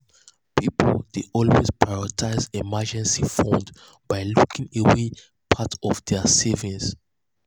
pipul dey always prioritize emergency funds by locking away part of dia savings.